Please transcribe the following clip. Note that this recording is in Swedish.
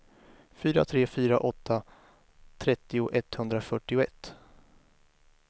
fyra tre fyra åtta trettio etthundrafyrtioett